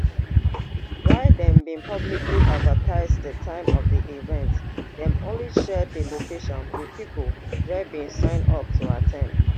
while dem bin publicly advertise di time of di event dem only share di location wit pipo wey bin sign up to at ten d